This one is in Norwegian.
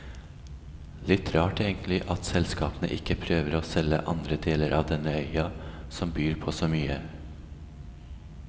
Litt rart, egentlig, at selskapene ikke prøver å selge andre deler av denne øya, som byr på så mye.